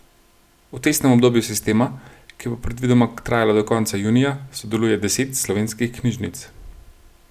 V testnem obdobju sistema, ki bo predvidoma trajalo do konca junija, sodeluje deset slovenskih knjižnic.